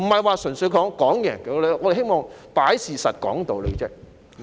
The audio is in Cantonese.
不是要分勝負，我們只是希望擺事實、講道理。